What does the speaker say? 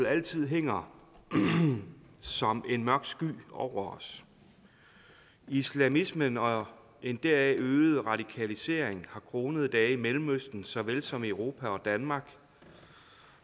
altid hænger som en mørk sky over os islamismen og en deraf øget radikalisering har kronede dage i mellemøsten såvel som i europa og danmark